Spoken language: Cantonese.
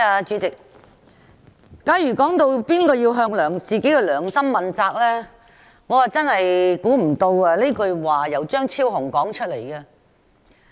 主席，有議員談到誰人要向自己的良心問責，我真的想不到這句說話是由張超雄議員說出來的。